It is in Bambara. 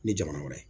Ni jamana wɛrɛ